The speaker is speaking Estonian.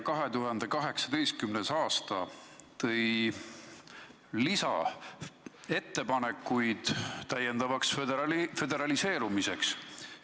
2018. aasta tõi lisaettepanekuid täiendavaks föderaliseerumiseks.